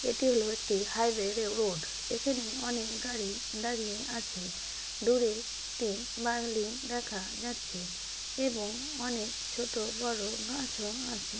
এটি হলো একটি হাইওয়ে রোড এখানে অনেক গাড়ি দাঁড়িয়ে আছে দূরে একটি বার্লিং দেখা যাচ্ছে এবং অনেক ছোট বড় গাছও আছে।